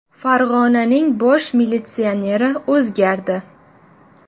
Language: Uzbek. Farg‘onaning bosh militsioneri o‘zgardi.